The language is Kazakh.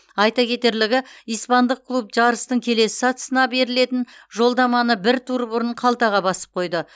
айта кетерлігі испандық клуб жарыстың келесі сатысына берілетін жолдаманы бір тур бұрын қалтаға басып қойды